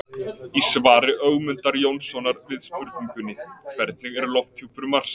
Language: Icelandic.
Í svari Ögmundar Jónssonar við spurningunni Hvernig er lofthjúpur Mars?